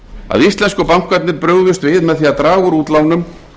að íslensku bankarnir brugðust við með því að draga úr útlánum